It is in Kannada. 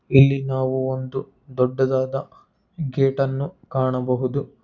ಇಲ್ಲಿ ನಾವು ಒಂದು ದೊಡ್ಡದಾದ ಗೇಟ್ ಅನ್ನೋ ಕಾಣಬಹುದು.